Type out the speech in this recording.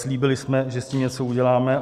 Slíbili jsme, že s tím něco uděláme.